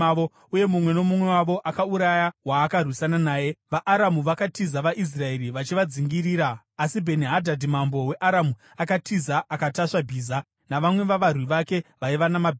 uye mumwe nomumwe wavo akauraya waakarwisana naye. VaAramu vakatiza, vaIsraeri vachivadzingirira. Asi Bheni-Hadhadhi mambo weAramu akatiza akatasva bhiza, navamwe vavarwi vake vaiva namabhiza.